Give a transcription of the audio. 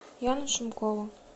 яну шумкову